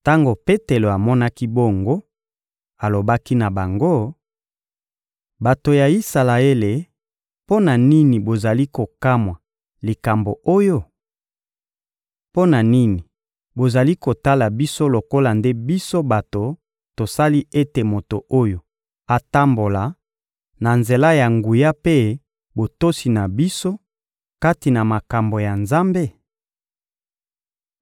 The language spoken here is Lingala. Tango Petelo amonaki bongo, alobaki na bango: — Bato ya Isalaele, mpo na nini bozali kokamwa likambo oyo? Mpo na nini bozali kotala biso lokola nde biso bato tosali ete moto oyo atambola, na nzela ya nguya mpe botosi na biso kati na makambo ya Nzambe?